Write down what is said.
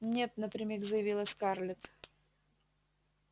нет напрямик заявила скарлетт